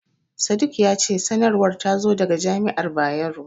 Sadik ya ce sanarwar ta zo daga jami'ar Bayero.